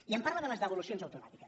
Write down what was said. i em parla de les devolucions automàtiques